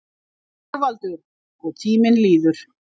ÞORVALDUR: Og tíminn líður.